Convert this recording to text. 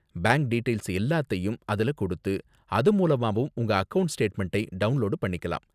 Bank details எல்லாத்தையும் அதுல கொடுத்து, அது மூலமாவும் உங்க அக்கவுண்ட் ஸ்டேட்மெண்டை டவுண்லோடு பண்ணிக்கலாம்.